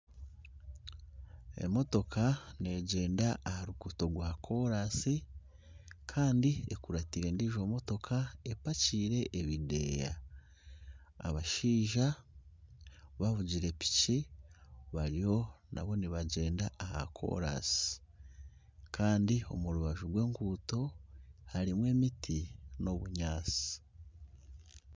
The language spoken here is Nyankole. Emotooka neegyenda aha ruguuto rwa koraasi kandi ekuratire endiijo motooka epakiire ebindeeya abashaija bavugire piiki bariyo naabo nibagyenda aha koraansi kandi omu rubaju rw'enguuto harimu emiti n'obunyaatsi.